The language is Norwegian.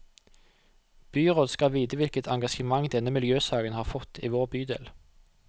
Byrådet skal vite hvilket engasjement denne miljøsaken har fått i vår bydel.